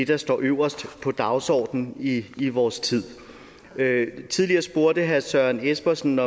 der står øverst på dagsordenen i i vores tid tidligere spurgte herre søren espersen